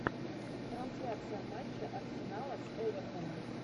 трансляция матча арсенала с эвертоном